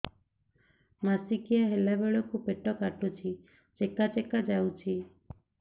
ମାସିକିଆ ହେଲା ବେଳକୁ ପେଟ କାଟୁଚି ଚେକା ଚେକା ଯାଉଚି